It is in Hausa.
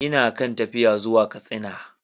Ina kan tafiya zuwa Katsina.